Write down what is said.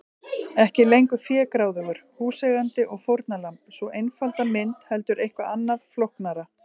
Ekki lengur fégráðugur húseigandi og fórnarlamb, sú einfalda mynd, heldur eitthvað annað, flóknara.